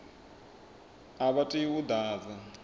a vha tei u ḓadza